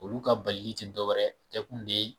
Olu ka balili t'i dɔ wɛrɛ, a kɛ kun de ye.